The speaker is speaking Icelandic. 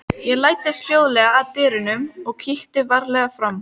Ég læddist hljóðlega að dyrunum og kíkti varlega fram.